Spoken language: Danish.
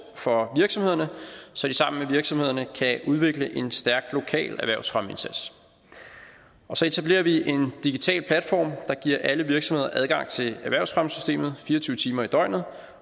for virksomhederne så de sammen med virksomhederne kan udvikle en stærk lokal erhvervsfremmeindsats og så etablerer vi en digital platform der giver alle virksomheder adgang til erhvervsfremmesystemet fire og tyve timer i døgnet